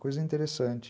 Coisa interessante.